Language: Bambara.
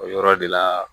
O yɔrɔ de la